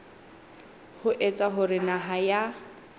ho etsa hore naha ya